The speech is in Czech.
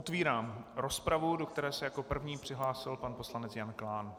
Otvírám rozpravu, do které se jako první přihlásil pan poslanec Jan Klán.